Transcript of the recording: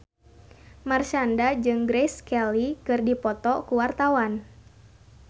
Marshanda jeung Grace Kelly keur dipoto ku wartawan